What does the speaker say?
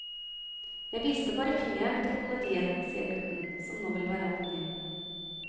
Jeg viste bare fingeren til politiet, sier gutten, som nå vil være anonym.